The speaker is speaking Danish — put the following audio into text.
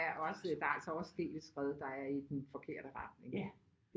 Også der er altså også sket et skred der er i den forkerte retning ikke